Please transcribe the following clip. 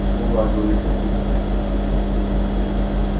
ну да говорит папулька